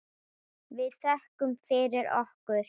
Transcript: Við þökkum fyrir okkur.